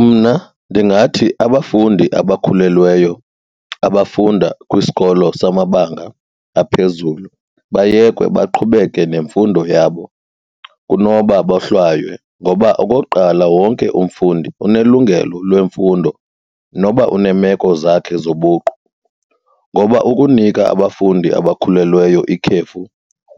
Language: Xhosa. Mna ndingathi abafundi abakhulelweyo abafunda kwisikolo samabanga aphezulu bayekwe baqhubeke nemfundo yabo kunoba bohlwaye ngoba okokuqala, wonke umfundi unelungelo lemfundo noba uneemeko zakhe zobuqu. Ngoba ukunika abafundi abakhulelweyo ikhefu